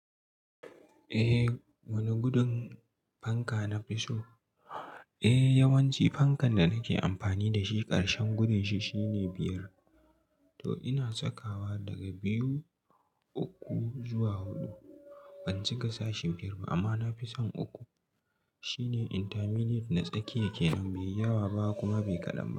Eh, wane gudun fanka na fi so? Eh yawanci fankan da nake amfani da shi ƙarshen gudun shi shine biyar. To ina sakawa daga biyu, uku zuwa huɗu. Ban cika sashin biyar ba amma na fi son uku. Shi ne intermediate, na tsakiya kenan, bai yawa ba kuma bai ƙadan ba.